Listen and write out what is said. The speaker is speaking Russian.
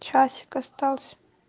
часик остался